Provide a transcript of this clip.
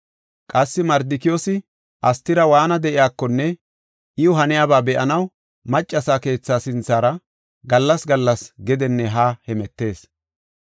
Qassi Mardikiyoosi Astira waana de7iyakonne iw haniyaba be7anaw, maccasa keetha sinthara gallas gallas gedenne haa hemetees.